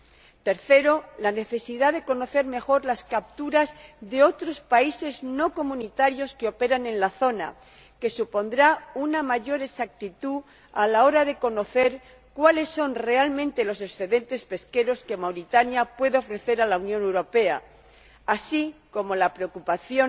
En tercer lugar, la necesidad de conocer mejor las capturas de otros países no comunitarios que operan en la zona, lo que supondrá una mayor exactitud a la hora de conocer cuáles son realmente los excedentes pesqueros que Mauritania pueda ofrecer a la Unión Europea, así como la preocupación